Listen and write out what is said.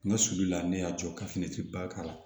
N ka sulu la ne y'a jɔ ka fini ti ba k'a la